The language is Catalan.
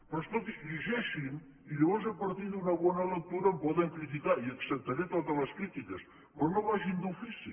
però escolti llegeixin ho i llavors a partir d’una bona lectura em poden criticar i acceptaré totes les crítiques però no vagin d’ofici